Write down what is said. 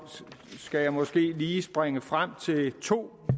skal måske lige springe frem til to